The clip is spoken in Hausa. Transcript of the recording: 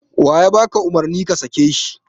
Waye ya baka umurni ka sake shi?